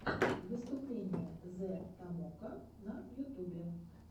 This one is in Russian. выступление зэ томоко на ютубе